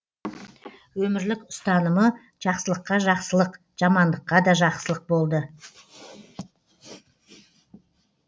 өмірлік ұстанымы жақсылыққа жақсылық жамандыққа да жақсылық болды